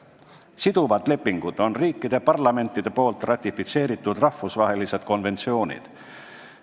Siduvad lepingud on riikide parlamentide ratifitseeritud rahvusvahelised konventsioonid.